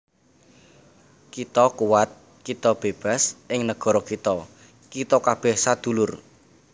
Kita kuwat kita bébas ing negara iki Kita kabèh sadulur